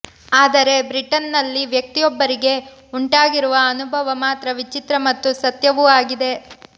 ಆದರೆ ಬ್ರಿಟನ್ನಲ್ಲಿ ವ್ಯಕ್ತಿಯೊಬ್ಬರಿಗೆ ಉಂಟಾಗಿರುವ ಅನುಭವ ಮಾತ್ರ ವಿಚಿತ್ರ ಮತ್ತು ಸತ್ಯವೂ ಆಗಿದೆ